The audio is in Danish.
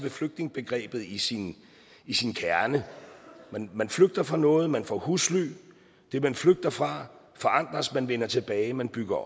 flygtningebegrebet i sin i sin kerne man flygter fra noget man får husly det man flygter fra forandres man vender tilbage man bygger